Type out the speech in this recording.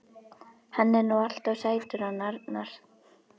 Hann er nú alltaf sætur hann Arnar.